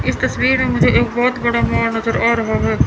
इस तस्वीर में मुझे एक बहुत बड़ा पहाड़ नजर आ रहा है।